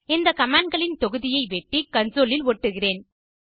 இந்த commandகளின் தொகுதியை வெட்டி கன்சோல் இல் ஒட்டுகிறேன்